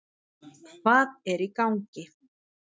Hvað er í gangi?